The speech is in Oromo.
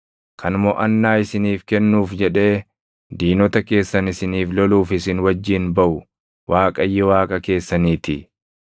Kan moʼannaa isiniif kennuuf jedhee diinota keessan isiniif loluuf isin wajjin baʼu Waaqayyo Waaqa keessaniitii.”